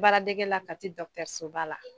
Baaradegɛ la Kati dɔgɔtɔrɔsɔso .